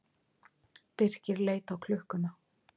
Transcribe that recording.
Birkir leit á klukkuna.